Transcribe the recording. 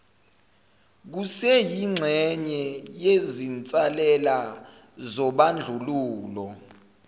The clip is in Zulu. kuseyingxenye yezinsalela zobandlululo